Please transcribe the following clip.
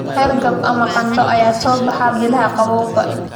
Hargab ama qandho ayaa soo baxa bilaha qabowga.